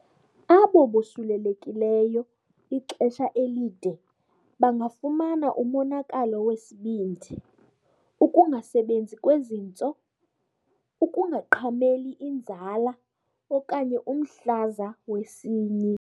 Abo bosulelekileyo ixesha elide bangafumana umonakalo wesibindi, ukungasebenzi kwezintso, ukungaqhameli inzala, okanye umhlaza wesinyi.